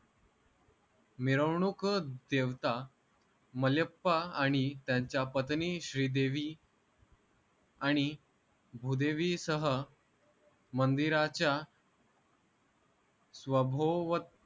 मिरवणूक देवता मल्याप्पा आणि त्यांच्या पत्नी श्रीदेवी आणि भूदेवी सह मंदिराच्या स्वभोव